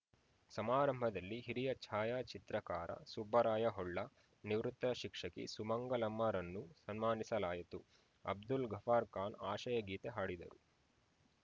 ಸಮಾರಂಭದಲ್ಲಿ ಹಿರಿಯ ಛಾಯಾಚಿತ್ರಕಾರ ಸುಬ್ಬರಾಯ ಹೊಳ್ಳ ನಿವೃತ್ತ ಶಿಕ್ಷಕಿ ಸುಮಂಗಲಮ್ಮರನ್ನು ಸನ್ಮಾನಿಸಲಾಯಿತು ಅಬ್ದುಲ್‌ ಗಫಾರ್‌ ಖಾನ್‌ ಆಶಯ ಗೀತೆ ಹಾಡಿದರು